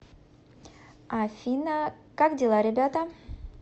афина как дела ребята